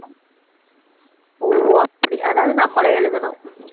ஓ அப்படி அதாவது நம்மளே எழுதணும்